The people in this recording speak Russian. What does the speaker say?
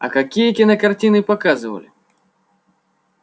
а какие кинокартины показывали